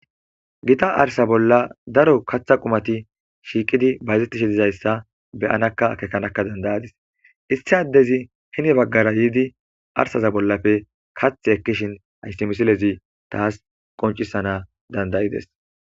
gita arsa bolla daro katha qumati shiiqidi bayzettishi dizayssa beyanakka kekanaka dandayadis issiaddezi hine baggara yiidi arsaza bollafe kath ekkishin ayssimisilezi taas qoncisana dandayides